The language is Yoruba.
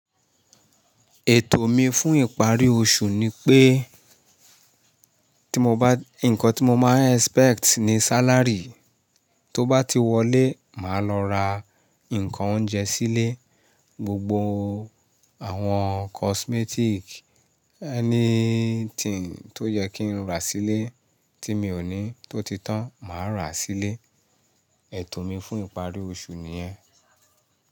Ètò mi fún ìparí oṣù ni pé, tí mo bá, nǹkan tí mo máa ń expect ni salary tó bá ti wọlé, màá lọ ra nǹkan oúnjẹ sílé, gbogbo àwọn cosmetic, anything tó yẹ kí n rà sílé tí mi ò ní tó ti tán màá ràá sílé. Ètò mi fún ìparí oṣù nìyẹn.